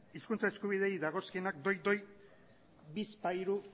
hizkuntza eskubideei dagozkienak doi doi bizpahiru